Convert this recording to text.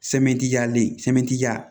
jali sɛmɛni ja